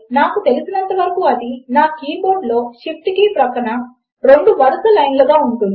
కాబట్టి ఇక్కడ మనము ఓర్ 1 కి 1 సమానము అవుతుంది నాట్ ఆండ్ అని టైప్ చేస్తాము మనము ఆండ్ అని చెపితే అప్పుడు రెండు కూడా ట్రూ అయి ఉండాలి